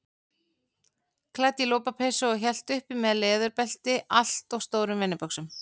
Klædd í lopapeysu og hélt uppi með leðurbelti allt of stórum vinnubuxum.